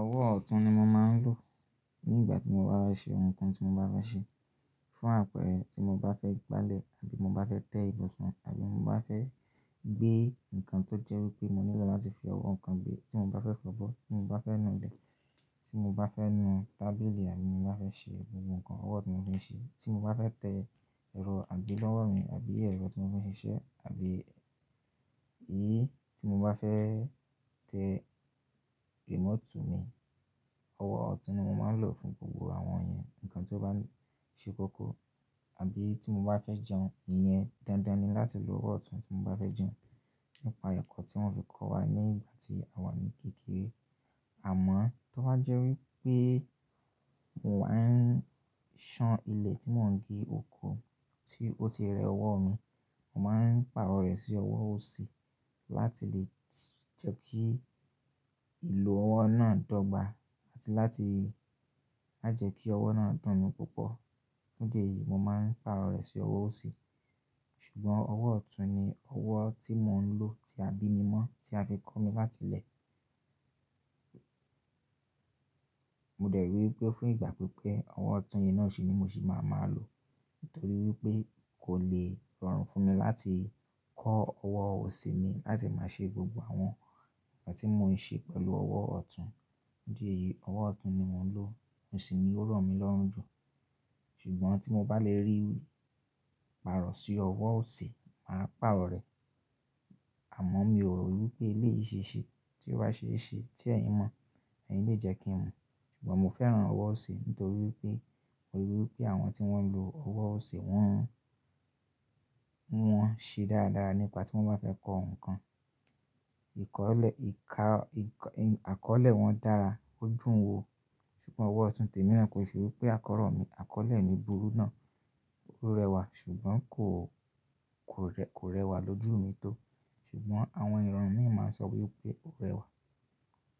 Ọwọ́ ọ̀tún ni mo máa ń lò nígbà tí mo bá bá ṣe ohunkóhun tí mo bá fẹ ṣe, fún àpẹẹrẹ tí mo bá fẹ́ gbálẹ̀ àbí mo bá fẹ́ tẹ ìbọsàn àbí mo bá fẹ́ gbé nǹkan tó jẹ́ wí pé mo nílò láti fi ọwọ́ nǹkan gbé, tí mo bá fẹ́ fọ́bọ́, tí mo bá fẹ́ nu ilẹ̀, tí mo bá fẹ́ nu tábìlì àbí mo bá fẹ́ ṣe gbogbo nǹkan, ọwọ́ ọtún ní mo fi ń ṣe, tí mo bá fẹ́ tẹ ẹ̀rọ àgbélọ́wọ́ mi àbí ẹ̀rọ tí mo fi ń ṣiṣẹ́ àbí i tí mo bá fẹ́ tẹ remote mi, ọwọ́ ọ̀tún ni mo máa ń lò fún gbogbo àwọn yẹn. Ǹkan tí ó bá ń ṣe kókó àbí tí mo bá fẹ́ jẹun, ìyẹn dandan ni láti lo ọwọ́ ọ̀tún tí mo bá fẹ́ jẹun. Nípa ẹ̀kọ́ tí wọ́n fi kọ́ wa ní ìgbà tí àwa ní kékeré àmọ́ tí ó bá jẹ́ wí pé mò ń wá ń ṣan ilẹ̀ tí mò ń gé oko tí ó ti rẹ ọwọ́ mi, mò máa ń pàrọ̀ rẹ̀ sí ọwọ́ òsì láti lè jẹ́ kí ìlò ọwọ́ náà dọ́gba àti láti lájẹ̀ kí ọwọ́ náà dùn mí púpọ̀. Fún dí eyìí mo máa ń pàrọ̀ rẹ̀ sí ọwọ́ òsì. Ṣùgbọ́n ọwọ́ ọ̀tún ni ọwọ́ tí mò ń lò tí a bí mi mọ́ tí a fi kọ́ mi láti ilẹ̀. Mò dẹ̀ rí i wí pé fún ìgbà pípẹ́ ọwọ́ ọ̀tún yẹn náà sì ni mo sì máa máa lò nítorí wí pé kò le rọrùn fún mi láti kọ́ ọwọ́ òsì mi láti máa ṣe gbogbo àwọn ǹkan tí mò ń ṣe pẹ̀lú ọwọ́ ọ̀tún. Fún dí eyìí ọwọ́ ọ̀tún ni mò ń lò, ó sì ni ó rọ̀ mí lọ́rùn jù. Ṣùgbọ́n tí mo bá lè rí ìpàrọ̀ sí ọwọ́ òsì mà á pàrọ̀ rẹ̀. Àmọ́ mi ò rò wí pé ilé ìṣesí tí ó bá ṣe é ṣe tí ẹ̀yin mọ̀, ẹ̀yin lè jẹ́ kí n mọ̀. Ṣùgbọ́n mo fẹ́ràn ọwọ́ òsì nítorí wí pé mo rí i wí pé àwọn tí wọ́n ń lo ọwọ́ òsì wọ́n ń ṣe dáradára nígbà tí wọ́n bá fẹ́ kọ ohunkóhun. Ìkọ̀lẹ̀, ìka, ìn, àkọ́lẹ̀ wọn dára, ó dùn wo. Ṣùgbọ́n ọwọ́ ọ̀tún tèmi rán ko ṣe wí pé àkọ́rọ̀ mi, àkọ́lẹ̀ mi burú náà, ó rẹwà ṣùgbọ́n kò, kò rẹ, kò rẹwà lójú mi tó. Ṣùgbọ́n àwọn ìran mí ń máa ń sọ wí pé ó rẹwà.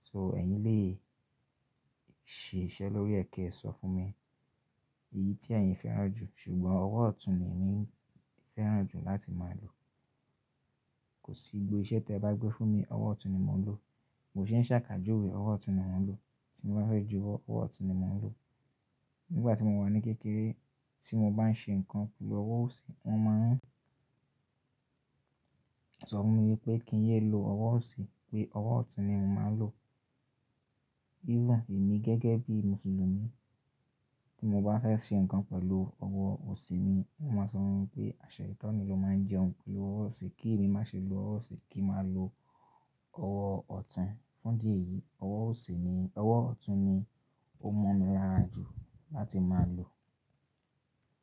So ẹ̀yin lè ṣe iṣẹ́ lórí ẹ̀kẹ ẹ sọ fún mi èyí tí ẹ̀yin fẹ́ràn jù ṣùgbọ́n ọwọ́ ọ̀tún ni èmi fẹ́ràn jù láti máa lò. Kò sí igbo iṣẹ́ tí ẹ bá gbé fún mi, ọwọ́ ọ̀tún ni mò ń lò. Mo ṣe ń ṣàkájòwe ọwọ́ ọ̀tún ni mò ń lò. Tí mo bá fẹ́ ju ọwọ́, ọwọ́ ọ̀tún ni mò ń lò. Nígbà tí mo wà ní kékeré tí mo bá ń ṣe nǹkan pẹ̀lú ọwọ́ òsì wọ́n máa ń sọ fún mi wípé kí n yé lo ọwọ́ òsì pé ọwọ́ ọ̀tún ni mò máa ń lò. Even èmi gẹ́gẹ́ bí Mùsùlùmí tí mo bá fẹ́ ṣe nǹkan pẹ̀lú ọwọ́ òsì mi, wọ́n máa sọ fún mi pé àṣeyitani ló máa ń jẹun pẹ̀lú ọwọ́ òsì, kí èmi má ṣe lo ọwọ́ òsì kí mo máa lo ọwọ́ ọ̀tún. Fún dí eyìí ọwọ́ òsì ni, ọwọ́ ọ̀tún ni ó mọ́ mi lára jù láti máa lò.